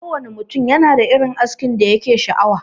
Kowanne ne mutum yanada irin askin da yake sha'awa.